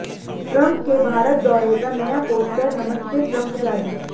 Trump के भारत दौरे का नया पोस्टर नमस्ते ट्रंप जारी